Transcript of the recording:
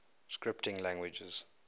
scripting languages